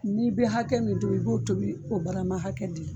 N'i bɛ hakɛ min tobi, i b'o tobi o barama hakɛ de la.